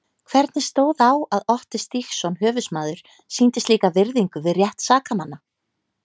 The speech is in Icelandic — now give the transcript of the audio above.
Hvernig stóð á að Otti Stígsson höfuðsmaður sýndi slíka virðingu við rétt sakamanna?